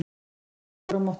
Hann hélt okkur á mottunni.